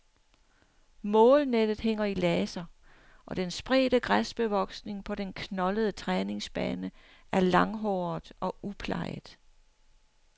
Målnettet hænger i laser, og den spredte græsbevoksning på den knoldede træningsbane er langhåret og uplejet.